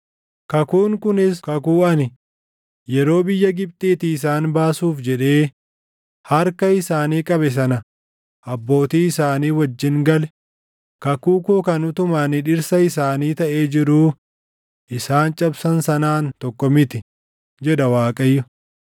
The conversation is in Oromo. “Kakuun kunis kakuu ani, yeroo biyya Gibxiitii isaan baasuuf jedhee harka isaanii qabe sana abbootii isaanii wajjin gale, kakuu koo kan utuma ani dhirsa isaanii taʼee jiruu isaan cabsan sanaan tokko miti” jedha Waaqayyo.